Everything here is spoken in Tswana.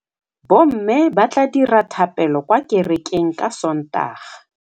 Bommê ba tla dira dithapêlô kwa kerekeng ka Sontaga.